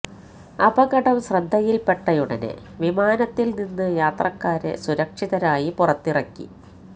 അപകടം ശ്രദ്ധയില് പെട്ടയുടനെ വിമാനത്തിൽ നിന്ന് യാത്രക്കാരെ സുരക്ഷിതരായി പുറത്തിറക്കി